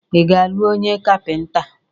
Ị ga-alụ onye Kapịnta?